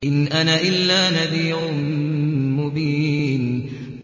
إِنْ أَنَا إِلَّا نَذِيرٌ مُّبِينٌ